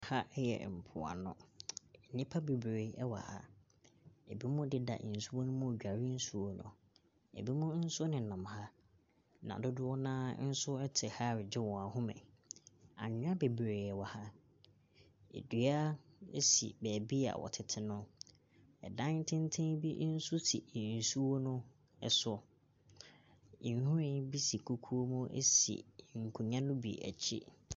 Ɛha yɛ mpoano. Nnipa bebree ɛwɔ ha. Ebinom deda nsuo no mu dware nsuo no. Ebinom nso ɛnenam ha. Na dodoɔ no ara nso ɛte ha ɛgye wɔn ahome. Anwia bebree wɔ ha. Adua esi baabi a wɔtete no. Ɛdan tenten bi si nsuo no so. Nhwiren bi si kukuo mu esi nkonya no bi akyi.